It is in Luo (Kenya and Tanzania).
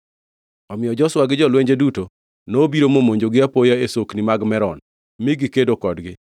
Omiyo Joshua gi jolwenje duto nobiro momonjogi apoya e Sokni mag Merom mi gikedo kodgi,